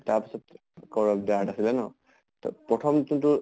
তাৰ পিছত core of the earth আছিলে ন। ত প্ৰথম যোনটো